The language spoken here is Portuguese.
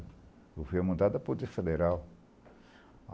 Eu fui amandado a Poder Federal.